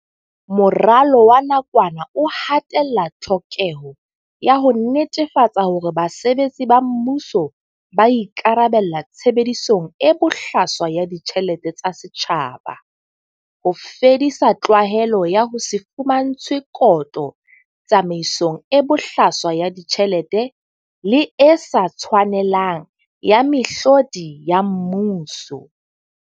Moralo wa nakwana o ha tella tlhokeho ya ho netefatsa hore basebetsi ba mmuso ba ikarabella tshebedisong e bohlaswa ya ditjhelete tsa setjhaba, ho fedisa tlwaelo ya ho se fumantshwe kotlo tsamaisong e bohlaswa ya ditjhelete le e sa tshwanelang ya mehlodi ya mmuso.